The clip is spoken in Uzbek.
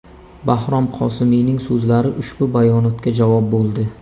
Bahrom Qosimiyning so‘zlari ushbu bayonotga javob bo‘ldi.